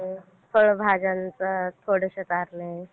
फळभाज्यांचा थोडीसी